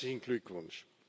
Herzlichen Glückwunsch!